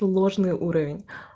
ложный уровень